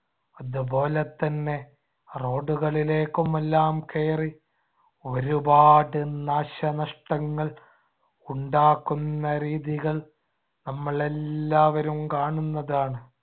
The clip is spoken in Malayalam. അതുപോലെതന്നെ road കളിലേക്കുമെല്ലാം കയറി ഒരുപാട് നാശനഷ്ടങ്ങൾ ഉണ്ടാക്കുന്ന രീതികൾ നമ്മൾ എല്ലാവരും കാണുന്നതാണ്.